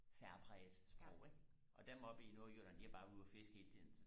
særpræget sprog ikke og dem oppe i nordjylland de har bare været ude og fiske hele tiden